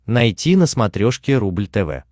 найти на смотрешке рубль тв